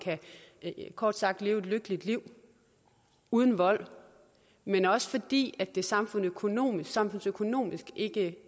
kort sagt kan leve et lykkeligt liv uden vold men også fordi det samfundsøkonomisk samfundsøkonomisk ikke